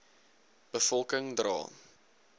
be volking dra